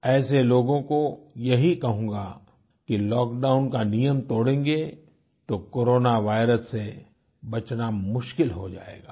ऐसे लोगों को यही कहूँगा कि लॉकडाउन का नियम तोड़ेंगे तो कोरोना वायरस से बचना मुश्किल हो जायेगा